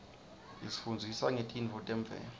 isifundzisa ngetintfo temvelo